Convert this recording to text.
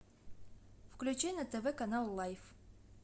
включи на тв канал лайф